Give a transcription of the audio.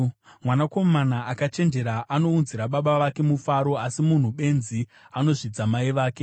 Mwanakomana akachenjera anounzira baba vake mufaro, asi munhu benzi anozvidza mai vake.